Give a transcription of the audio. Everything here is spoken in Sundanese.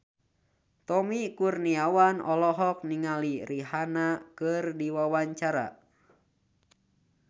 Tommy Kurniawan olohok ningali Rihanna keur diwawancara